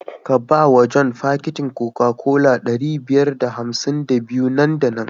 Ka ba wa john fakitin Coca-Cola ɗari biyar da hamsin da biyu nan da nan.